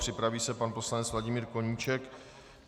Připraví se pan poslanec Vladimír Koníček.